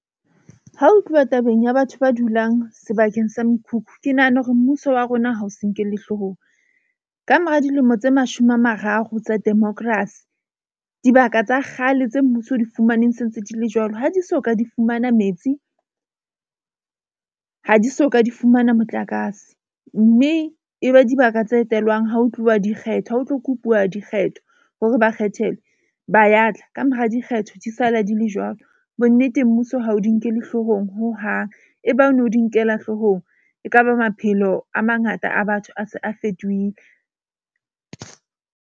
Ha ho tluwa tabeng ya batho ba dulang sebakeng sa mekhukhu. Ke nahana hore mmuso wa rona ha ho se nkelle hloohong. Kamora dilemo tse mashome a mararo tsa democracy, dibaka tsa kgale tse mmuso o di fumaneng se ntse di le jwalo, ha di soka, di fumana metsi ha di soka, di fumana motlakase. Mme e be dibaka tse etelwang ha ho tluwa dikgetho, ha ho tlo kopuwa dikgetho hore ba kgethelwe ba ya tla. Kamora dikgetho di sala di le jwalo. Bonneteng mmuso ha o di nkele hloohong hohang. E bang o no di nkela hloohong. Ekaba maphelo a mangata a batho a se a fetohile.